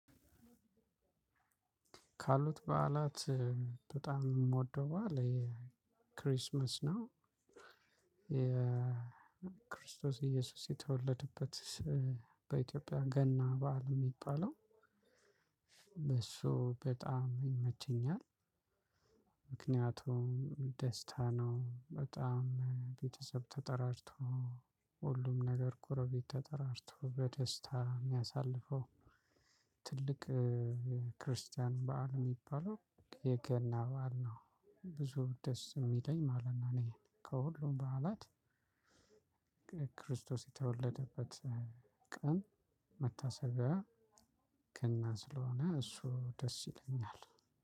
ካሉት በዓላት በጣም የምወደው በዓል ክሪስማስ ነው የክርስቶስ ኢየሱስ የተወለደበት በኢትዮጵያ ገና በዓል የሚባለው በእሱ በጣም ይመቸኛል። ምክንያቱም ደስታ ነው በጣም ቤተሰብ ተጠራርቶ ሁሉም ነገር ግሮቤት ተጠራርቶ በደስታ የሚያሳልፈው። ትልቅ የክርስቲያን በዓል የሚባለው የገና በዓል ነው ብዙ ደስ የሚለኝ ማለት ነው። እኔ ከሁሉም በዓላት ክርስቶስ የተወለደበት ቀን መታሰቢያ ገና ስለሆነ እሱ ደስ ይለኛል።